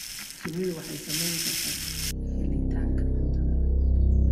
Shinnidu waxay saamayn kartaa helitaanka cuntada.